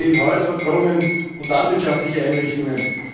Dazu zählen Häuser, Brunnen und landwirtschaftliche Einrichtungen.